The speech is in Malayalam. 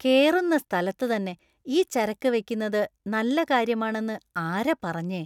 കേറുന്ന സ്ഥലത്ത് തന്നെ ഈ ചരക്ക് വയ്ക്കുന്നത് നല്ല കാര്യമാണെന്ന് ആരാ പറഞ്ഞെ?